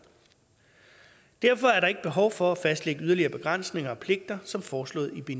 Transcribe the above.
derfor er der ikke behov for at fastlægge yderligere begrænsninger og pligter som foreslået i